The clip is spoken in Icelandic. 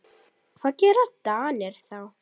Hvað gera Danir þá?